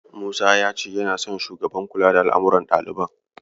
Musa ya ce yana son Shugaban kula da al'amuran ɗaliban.